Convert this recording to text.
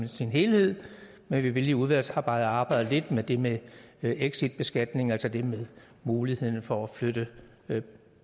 sin helhed men vi vil i udvalgsarbejdet arbejde lidt med det med exitbeskatning altså det med muligheden for at flytte